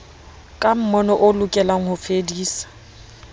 ka mmono o lekang hofedisa